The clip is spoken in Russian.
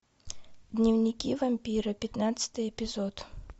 дневники вампира пятнадцатый эпизод